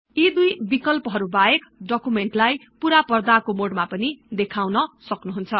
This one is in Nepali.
यी दुई बिकल्पहरु बाहेक डकुमेन्ट लाई पूरा पर्दाको मोडमा पनि देखाउन सक्नुहुन्छ